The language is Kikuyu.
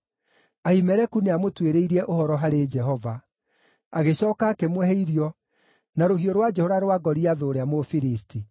Ahimeleku nĩamũtuĩrĩirie ũhoro harĩ Jehova; agĩcooka akĩmũhe irio, na rũhiũ rwa njora rwa Goliathũ ũrĩa Mũfilisti.”